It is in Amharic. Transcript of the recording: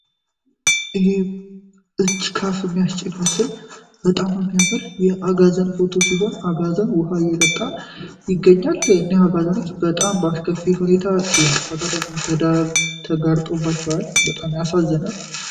ይህ እጅካፍ የሚያስጭን መስል በጣም ሚያምር የአጋዘን ፎቶ ሲሆን አጋዘን ውሃ የጠጣ ይገኛል እኔህ አጋዘኖች በጣም በአሽከፊ ሁኔታ ይነት ፋታደጋር ተደተጋርጦባችበዋል በጣም ያሳዝናል።